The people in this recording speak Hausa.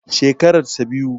Shekarar sa biyu.